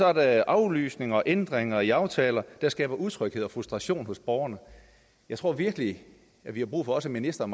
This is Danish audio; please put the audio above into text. er der aflysninger og ændringer i aftaler der skaber utryghed og frustration hos borgerne jeg tror virkelig vi har brug for at ministeren